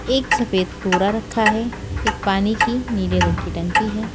एक सफेद बोरा रखा है एक पानी की नीले रंग की टंकी है।